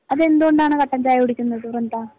അതെന്തുകൊണ്ടാണ് കട്ടൻ ചായ കുടിക്കുന്നത് വൃന്ദ?